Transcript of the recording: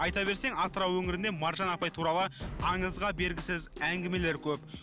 айта берсең атырау өңірінде маржан апай туралы аңызға бергісіз әңгімелер көп